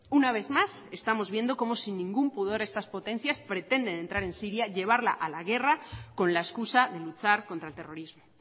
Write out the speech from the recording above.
una vez más estamos viendo como sin ningún pudor estas potencias pretenden entrar en siria llevarla a la guerra con la excusa de luchar contra el terrorismo